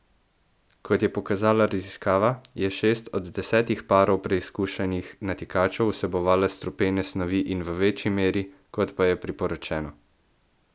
Kot je pokazala raziskava, je šest od desetih parov preizkušenih natikačev vsebovalo strupene snovi in v večji meri, kot pa je priporočeno.